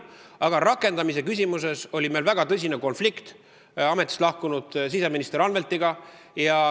Aga rakendamise küsimuses oli meil väga tõsine konflikt ametist lahkunud siseminister Anveltiga.